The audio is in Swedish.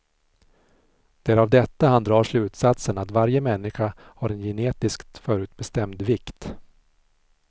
Det är av detta han drar slutsatsen att varje människa har en genetiskt förutbestämd vikt.